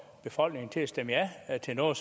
folk til at stemme ja til noget